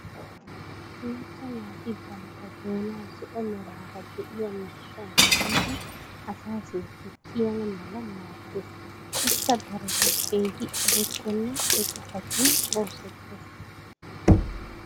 macca naati bantta doonaa zo'o meraara diya miishshan tiyidi asaa sintti kiyana mala maadees. ikka darotoo keehi eretenna eqqotattun oosettees.